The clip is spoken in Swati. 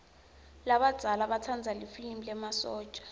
labadzala batsanza lifilimi lemasotja